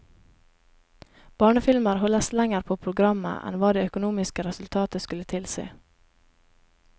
Barnefilmer holdes lenger på programmet enn hva det økonomiske resultatet skulle tilsi.